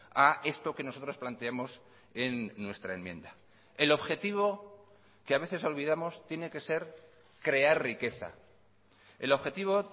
a esto que nosotros planteamos en nuestra enmienda el objetivo que a veces olvidamos tiene que ser crear riqueza el objetivo